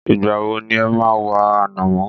Ìgbà wo ni e máa wá ànámọ́?